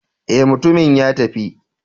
Eh, mutumin ya tafi.